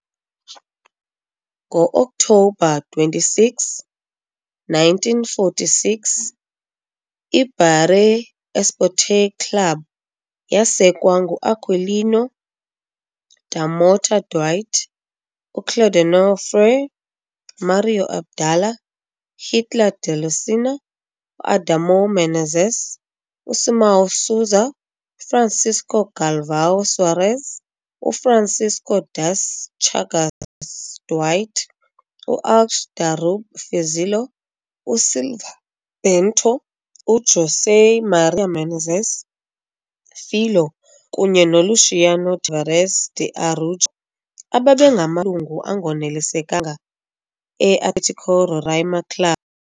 Ngo-Oktobha 26, 1946, IBaré Esporte Clube yasekwa nguAquilino da Mota Duarte, uClaudeonor Freire, Mário Abdala, uHitler de Lucena, uAdamor Menezes, uSimão Souza, uFrancisco Galvão Soares, uFrancisco das Chagas Duarte, uAlçs da Rube Fizilho USilva Bento, uJosé Maria Menezes Filho kunye noLuciano Tavares de Araújo, ababengamalungu angonelisekanga e-Atlético Roraima Clube.